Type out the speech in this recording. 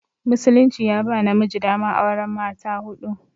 Musulunci ya ba namiji daman auran mata huɗu.